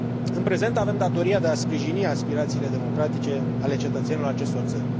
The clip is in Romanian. În prezent, avem datoria de a sprijini aspirațiile democratice ale cetățenilor acestor țări.